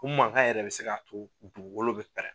U mankan yɛrɛ bɛ se ka to dugugolo bɛ pɛrɛn.